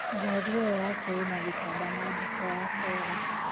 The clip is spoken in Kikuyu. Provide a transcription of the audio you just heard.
Ngari ĩyo yake ĩna gĩtanda na njiko ya sora